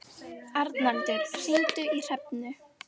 Arnaldur, hringdu í Hrefnu.